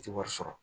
I tɛ wari sɔrɔ